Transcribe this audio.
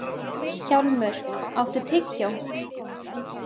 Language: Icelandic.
Hjálmur, áttu tyggjó?